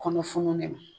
Kɔnɔ fununnen don